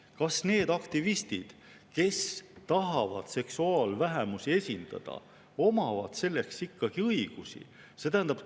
Kas need aktivistid, kes tahavad seksuaalvähemusi esindada, omavad selleks ikkagi õigusi?